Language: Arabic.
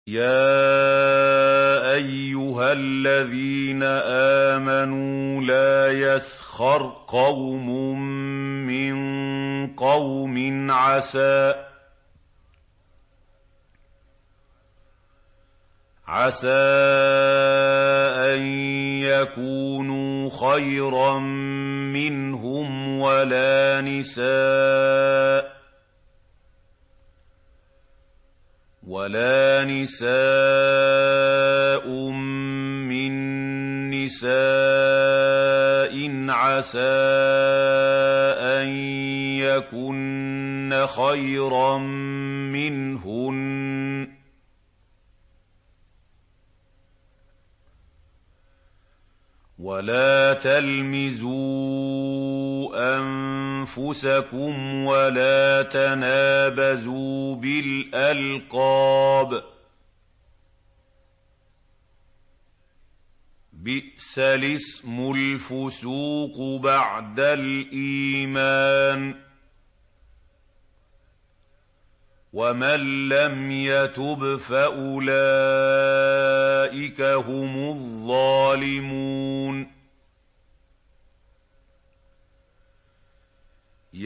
يَا أَيُّهَا الَّذِينَ آمَنُوا لَا يَسْخَرْ قَوْمٌ مِّن قَوْمٍ عَسَىٰ أَن يَكُونُوا خَيْرًا مِّنْهُمْ وَلَا نِسَاءٌ مِّن نِّسَاءٍ عَسَىٰ أَن يَكُنَّ خَيْرًا مِّنْهُنَّ ۖ وَلَا تَلْمِزُوا أَنفُسَكُمْ وَلَا تَنَابَزُوا بِالْأَلْقَابِ ۖ بِئْسَ الِاسْمُ الْفُسُوقُ بَعْدَ الْإِيمَانِ ۚ وَمَن لَّمْ يَتُبْ فَأُولَٰئِكَ هُمُ الظَّالِمُونَ